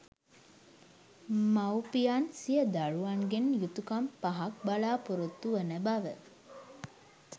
මවුපියන් සිය දරුවන්ගෙන් යුතුකම් පහක් බලාපොරොත්තු වන බව